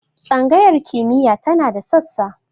Tsangayar kimiyya tana da sassa.